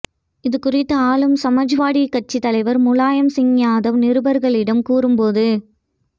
இது குறித்து ஆளும் சமாஜ்வாடி கட்சி தலைவர் முலாயம் சிங் யாதவ் நிருபர்களிடம் கூறும்போது